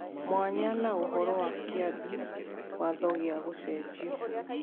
Mwanya na ũhoro wa Kĩambi Watho gĩa Gũcenjio.